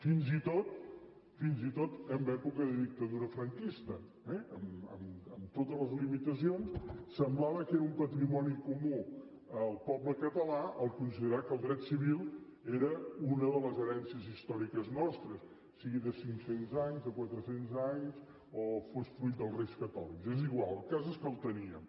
fins i tot fins i tot en època de dictadura franquista eh amb totes les limitacions semblava que era un patrimoni comú al poble català considerar que el dret civil era una de les herències històriques nostres sigui de cinc cents anys de quatre cents anys o fos fruit dels reis catòlics és igual el cas és que el teníem